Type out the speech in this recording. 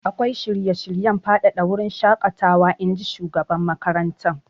Akwai shirye-shiryen faɗaɗa wurin shaƙatawa, in ji shugaban makarantar.